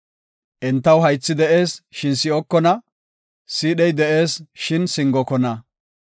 Entaw haythi de7ees, shin si7okona; siidhey de7ees, shin singokona.